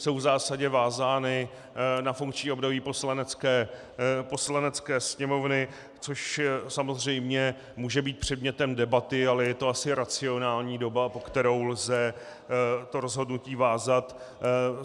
Jsou v zásadě vázány na funkční období Poslanecké sněmovny, což samozřejmě může být předmětem debaty, ale je to asi racionální doba, po kterou lze to rozhodnutí vázat.